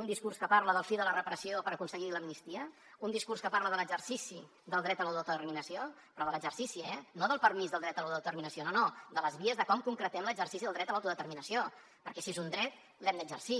un discurs que parla de la fi de la repressió per aconseguir l’amnistia un discurs que parla de l’exercici del dret a l’autodeterminació però de l’exercici eh no del permís del dret a l’autodeterminació no no de les vies de com concretem l’exercici del dret a l’autodeterminació perquè si és un dret l’hem d’exercir